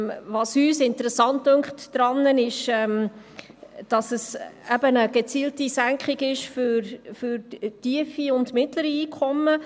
Was uns daran interessant scheint ist, dass es eben eine gezielte Senkung ist für tiefe und mittlere Einkommen.